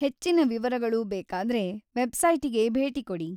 ಹೆಚ್ಚಿನ ವಿವರಗಳು ಬೇಕಾದ್ರೆ ವೆಬ್ಸೈಟಿಗೆ ಭೇಟಿ ಕೊಡಿ.